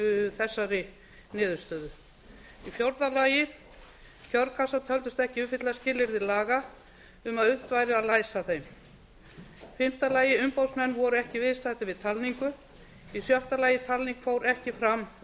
þessari niðurstöðu fjórða kjörkassar töldust ekki uppfylla skilyrði laga um að unnt væri að læsa þeim fimmta umboðsmenn voru ekki viðstaddir við talningu sjötta talning fór ekki fram